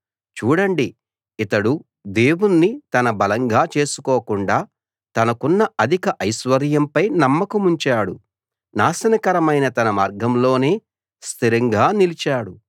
చూడండి ఇతడు దేవుణ్ణి తన బలంగా చేసుకోకుండా తనకున్న అధిక ఐశ్వర్యంపై నమ్మకముంచాడు నాశనకరమైన తన మార్గంలోనే స్థిరంగా నిలిచాడు